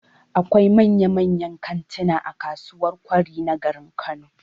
Akwai manyan-manyan kantina a kasuwar Kwari na garin Kano